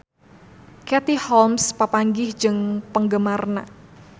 Katie Holmes papanggih jeung penggemarna